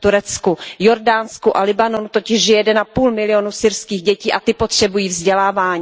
V Turecku, Jordánsku a Libanonu totiž žije 1,5 milionu syrských dětí a ty potřebují vzdělávání.